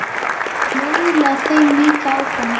Hann miðlaði þeim líka áfram.